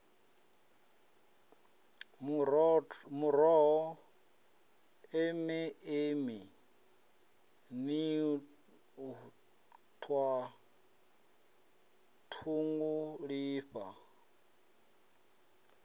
muroho eme eme nṱhwa ṱhungulifha